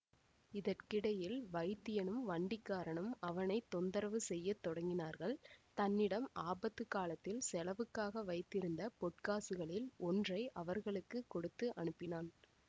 இதற்கிடையில் வைத்தியனும் வண்டிக்காரனும் அவனை தொந்தரவு செய்ய தொடங்கினார்கள் தன்னிடம் ஆபத்து காலத்தில் செலவுக்காக வைத்திருந்த பொற்காசுகளில் ஒன்றை அவர்களுக்கு கொடுத்து அனுப்பினான்